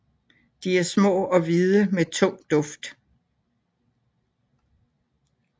De er små og hvide med en tung duft